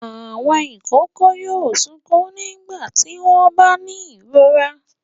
Àwọn ìkókó yóò sunkún nígbà tí wọ́n bá ní ìrora.